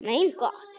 Mein Gott!